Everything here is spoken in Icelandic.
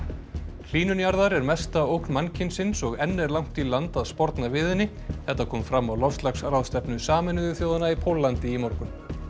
hlýnun jarðar er mesta ógn mannkynsins og enn er langt í land að sporna við henni þetta kom fram á loftslagsráðstefnu Sameinuðu þjóðanna í Póllandi í morgun